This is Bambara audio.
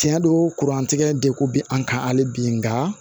Tiɲɛ don kuran tigɛ degun bɛ an kan hali bi nka